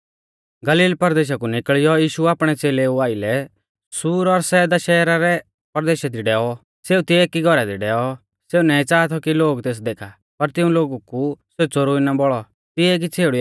गलील परदेशा कु निकल़ियौ यीशु आपणै च़ेलेऊ आइलै सूर और सैदा शहरु रै परदेशा दी डैऔ सेऊ तिऐ एकी घौरा दी डैऔ सेऊ नाईं च़ाहा थौ कि लोग तेस देखा पर तिऊं लोगु कु सौ च़ोरुई ना बौल़ौ